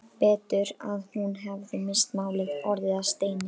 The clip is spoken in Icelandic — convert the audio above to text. Betur að hún hefði misst málið, orðið að steini.